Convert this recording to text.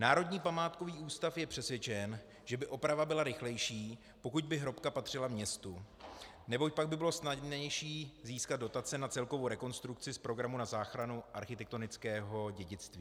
Národní památkový ústav je přesvědčen, že by oprava byla rychlejší, pokud by hrobka patřila městu, neboť pak by bylo snadnější získat dotace na celkovou rekonstrukci z programu na záchranu architektonického dědictví.